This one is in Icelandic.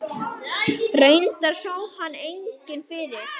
Guðjón og Louisa.